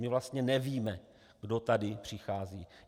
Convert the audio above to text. My vlastně nevíme, kdo tady přichází.